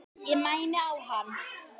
Ég mæni á hann.